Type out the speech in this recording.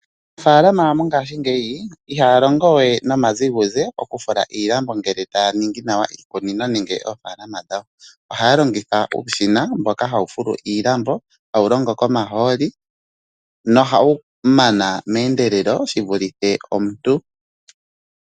Aanafaalama mongashingeyi ihaa longo wee nomaziguze oku fulu iilambo ngele taa ningi iikunino nenge oofaalama dhawo. Ohaa longitha uushina mboka hawu full iilambo hawu longo komahooli nohawu mana meendelelo shivulithe omuntu.